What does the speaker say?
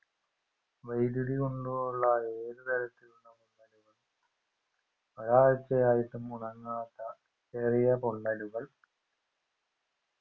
വൈദ്യുതി കൊണ്ടുള്ള ഏതുതരത്തിലുള്ള പൊള്ളലുകൾ ഒരാഴ്ചയായായിട്ടു മുണങ്ങാത്ത ചെറിയ പൊള്ളലുകൾ